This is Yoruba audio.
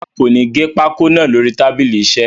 Rárá, kò ní gé pákó naa lórí tábìlì iṣẹ́.